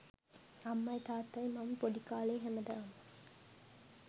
අම්මයි තාත්තයි මම පොඩි කාලේ හැමදාම